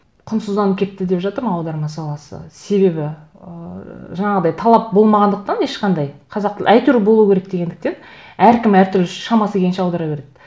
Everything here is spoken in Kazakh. құнсызданып кетті деп жатырмын аударма саласы себебі ыыы жаңағыдай талап болмағандықтан ешқандай қазақ тілі әйтеуір болу керек дегендіктен әркім әртүрлі шамасы келгенше аудара береді